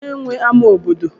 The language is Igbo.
kedu onye nwe ama obodo